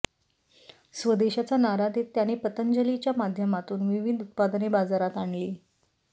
स्वदेशचा नारा देत त्यांनी पतंजलीच्या माध्यमातून विविध उत्पादने बाजारात आणली